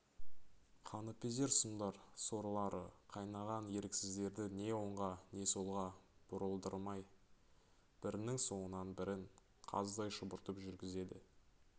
қаныпезер сұмдар сорлары қайнаған еріксіздерді не оңға не солға бұрылдырмай бірінің соңынан бірін қаздай шұбыртып жүргізеді